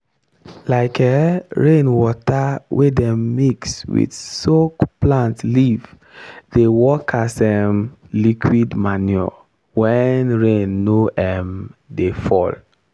um rainwater wey dem mix with soak plant leaf dey work as um liquid manure when rain no um dey fall.